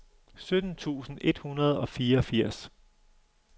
sytten tusind et hundrede og fireogfirs